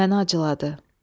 Məni acıladı.